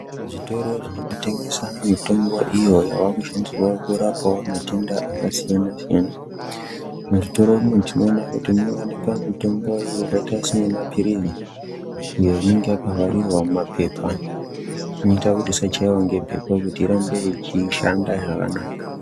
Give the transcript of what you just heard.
Zvitoro zvinotengeswa mitombo iyo yekuti tirapewo matenda akasiyana siyana . Muzvitoro tinoona kuti munowanikwa mutombo yakaita semapirizi uyo unenge wakavharirwa mumapepa inoita isachaiwa nembepo kuti irambe yeishanda zvakanaka.